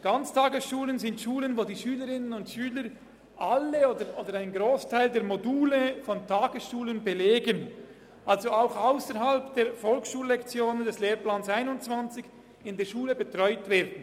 Ganztagesschulen sind Schulen, wo die Schülerinnen und Schüler alle oder einen Grossteil der Module von Tagesschulen belegen, also auch ausserhalb der Volksschullektionen des Lehrplans 21 in der Schule betreut werden.